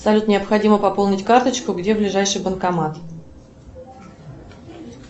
салют необходимо пополнить карточку где ближайший банкомат